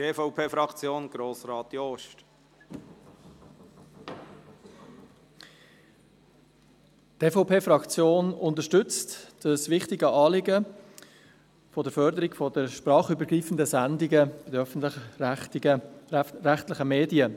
Die EVP-Fraktion unterstützt dieses wichtige Anliegen der Förderung der sprachübergreifenden Sendungen der öffentlich-rechtlichen Medien.